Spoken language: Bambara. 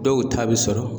Dɔw ta bɛ sɔrɔ